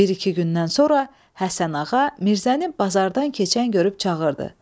Bir-iki gündən sonra Həsənağa Mirzəni bazardan keçən görüb çağırdı.